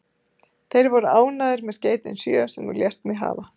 Þeir voru ánægðir með skeytin sjö, sem þú lést mig hafa.